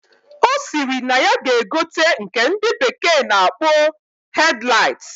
Osiri na ya ga egote nke ndi bekee na akpo headlight.